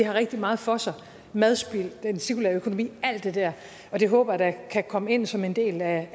rigtig meget for sig madspild den cirkulære økonomi alt det der og det håber jeg da kan komme ind som en del af